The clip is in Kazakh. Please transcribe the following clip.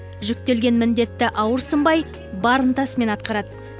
жүктелген міндетті ауырсынбай бар ынтасымен атқарады